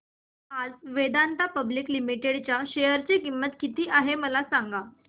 आज Vedanta public limited च्या share ची किंमत किती आहे मला सांगा